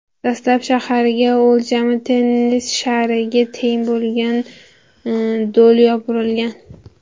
Dastlab shaharga o‘lchami tennis shariga teng bo‘lgan do‘l yopirilgan.